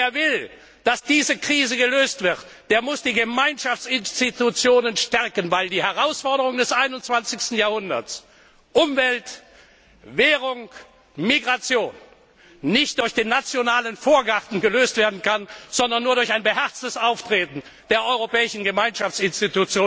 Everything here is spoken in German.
Wer will, dass diese Krise gelöst wird, der muss die Gemeinschaftinstitutionen stärken, weil die Herausforderungen des 21. Jahrhunderts Umwelt, Währung, Migration nicht durch den nationalen Vorgarten gelöst werden können, sondern nur durch ein beherztes Auftreten der europäischen Gemeinschaftsorgane